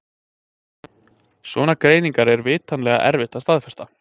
Svona greiningar er vitanlega erfitt að staðfesta.